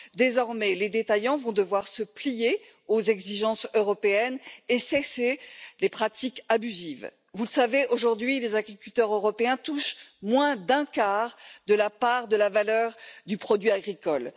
Désormais, les détaillants vont devoir se plier aux exigences européennes et cesser les pratiques abusives. Vous le savez, aujourd'hui, les agriculteurs européens touchent moins d'un quart de la part de la valeur du produit agricole.